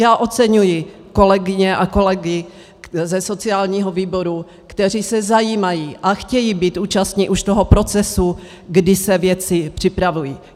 Já oceňuji kolegyně a kolegy ze sociálního výboru, kteří se zajímají a chtějí být účastni už toho procesu, kdy se věci připravují.